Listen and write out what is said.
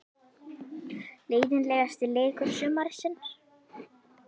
Leiðinlegasti leikur sumarsins?